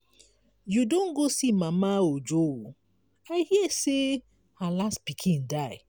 you don go see mama ojo? i hear say her last pikin die.